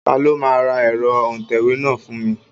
Ta ló máa ra ẹ̀rọ òǹtẹ̀wé náà fún mi?